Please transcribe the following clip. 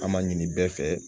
An ma ɲini bɛɛ fɛ